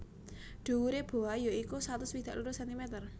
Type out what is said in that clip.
Dhuwure Boa ya iku satus swidak loro sentimer